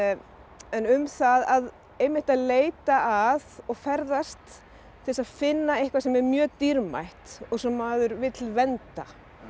en um það einmitt að leita að og ferðast til þess að finna eitthvað sem er mjög dýrmætt og sem maður vill vernda